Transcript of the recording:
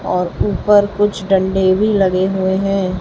और ऊपर कुछ डंडे भी लगे हुए हैं।